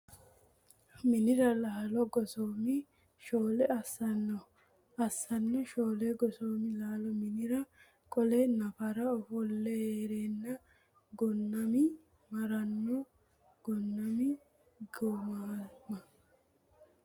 minira lalo Gosoomi Shoole Asso Asso Shoole Gosoomi lalo minira qo le nafara ofolle hee reenna Gonnami maranno Gonnami Gosooma !